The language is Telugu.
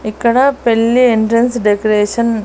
ఇక్కడ పెళ్లి ఎంట్రెన్స్ డెకరేషన్ .